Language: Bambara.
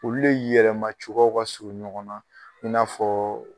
Olu le yɛlɛmacogoyaw ka surun ɲɔgɔn na i n'a fɔɔ